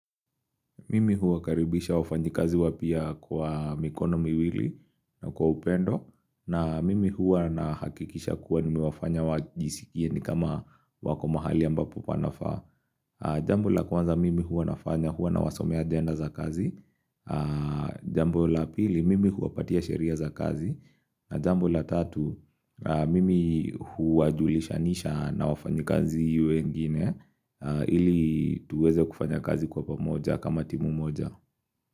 Mimi huwakaribisha wafanyikazi wapya kwa mikono miwili na kwa upendo na mimi hua na hakikisha kuwa nimewafanya wajisikie ni kama wako mahali ambapo panafaa Jambo la kwanza mimi hua nafanya hua na wasomea agenda za kazi Jambo la pili mimi huwapatia sheria za kazi na jambo la tatu mimi hua julishanisha na wafanyikazi wengine Ili tuweze kufanyakazi kwa pamoja kama timu moja.